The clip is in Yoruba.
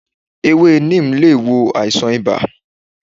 Ewe Neem lé wò àìsàn ìbá